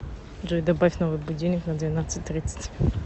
джой добавь новый будильник на двенадцать тридцать